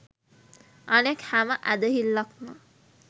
අනෙක් හැම ඇදහිල්ලක්ම